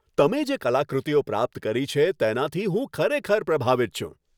તમે જે કલાકૃતિઓ પ્રાપ્ત કરી છે, તેનાથી હું ખરેખર પ્રભાવિત છું.